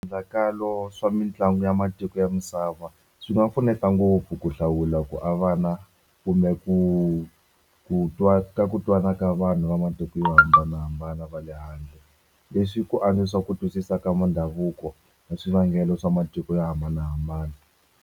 swa mitlangu ya matiko ya misava swi nga pfuneta ngopfu ku hlawula ku avana kumbe ku ku twa ka ku twana ka vanhu va matiko yo hambanahambana va le handle. Leswi ku ku twisisa ka midhavuko ya swivangelo swa matiko yo hambanahambana.